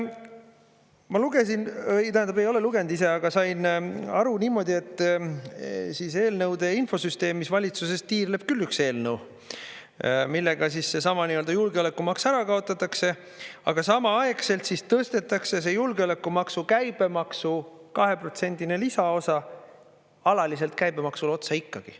Ma lugesin, tähendab, ei ole lugenud ise, aga sain aru niimoodi, et eelnõude infosüsteemis, valitsuses tiirleb küll üks eelnõu, millega siis seesama julgeolekumaks ära kaotatakse, aga samaaegselt tõstetakse see julgeolekumaksu käibemaksu 2%-line lisaosa alaliselt käibemaksule otsa ikkagi.